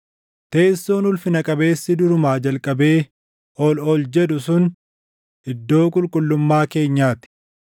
Teessoon ulfina qabeessi durumaa jalqabee ol ol jedhu sun, iddoo qulqullummaa keenyaa ti.